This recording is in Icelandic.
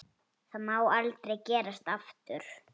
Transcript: Það má aldrei gerast aftur.